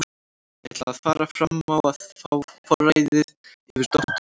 Ég ætla ekki að fara fram á að fá forræðið yfir dóttur minni.